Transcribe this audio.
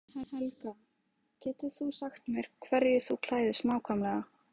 Helga: Getur þú sagt mér hverju þú klæðist nákvæmlega?